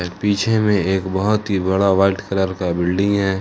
पीछे में एक बहुत ही बड़ा व्हाइट कलर का बिल्डिंग है।